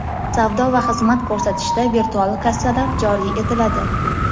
Savdo va xizmat ko‘rsatishda virtual kassalar joriy etiladi.